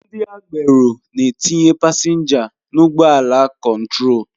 Ndị agbero na-etinye pasenja n'ụgbọ ala kontrol